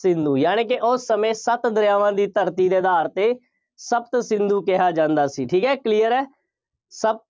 ਸਿੰਧੂ, ਯਾਨੀ ਕਿ ਉਸ ਸਮੇਂ ਸੱਤ ਦਰਿਆਵਾਂ ਦੀ ਧਰਤੀ ਦੇ ਆਧਾਰ 'ਤੇ ਸ਼ਪਤਸਿੰਧੂ ਕਿਹਾ ਜਾਂਦਾ ਸੀ। ਠੀਕ ਹੈ, clear ਹੈ। ਸ਼ਪਤ